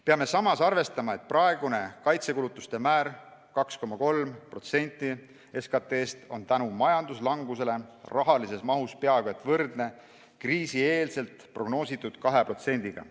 Peame samas arvestama, et praegune kaitsekulutuste määr 2,3% SKT-st on majanduslanguse tõttu rahalises mahus peaaegu võrdne kriisi eel prognoositud 2%-ga.